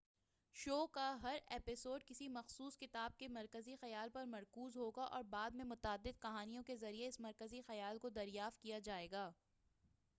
شو کا ہر ایپیسوڈ کسی مخصوص کتاب کے مرکزی خیال پر مرکوز ہوگا اور بعد میں متعدد کہانیوں کے ذریعہ اس مرکزی خیال کو دریافت کیا جائے گا